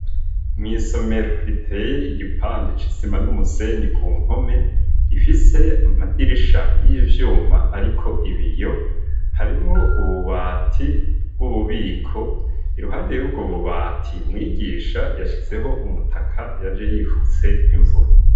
Mwisomero riteye igipande c'isima n'umusenyi kumpome, gifise amadirisha yivyuma ariko ibiyo, harimwo ububati bwububiko iruhande yubwo bubati mwigisha yashizeho umutaka yaje yifutse imvura.